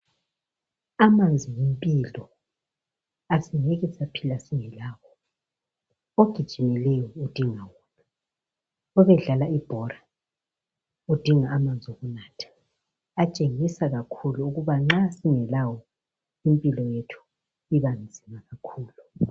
Amanzi yimpilo asingeke saphila singelawo ,ogijimileyo udinga wona .Obedlala ibhora udinga amanzi okunatha , atshengisa kakhulu ukuba nxa singelawo impilo yethu ibanzima kakhulu.